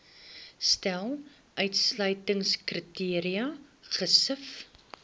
stel uitsluitingskriteria gesif